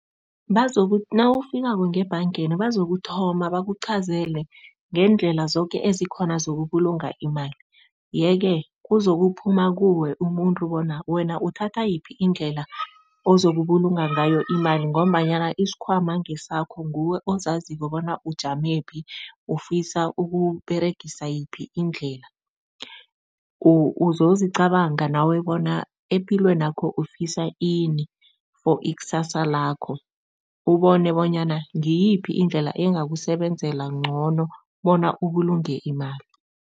Nawufikako ngebhangeni bazokuthoma bakuchazele ngeendlela zoke ezikhona zokubulunga imali, yeke kuzokuphuma kuwe, umuntu, bona wena uthatha yiphi indlela ozokubulunga ngayo imali ngombanyana isikhwama ngesakho, nguwe ozaziko bona ujamephi, ufisa ukUberegisa yiphi indlela. Uzozicabanga nawe bona epilweni yakho ufisa ini for ikusasa lakho ubone bonyana ngiyiphi indlela engakusebenzela ngcono bona ubulunge imali.